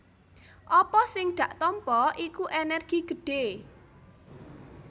Apa sing dak tampa iku ènèrgi gedhé